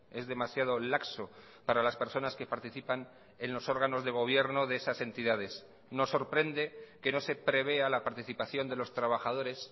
es demasiado laxo para las personas que participan en los órganos de gobierno de esas entidades nos sorprende que no se prevea la participación de los trabajadores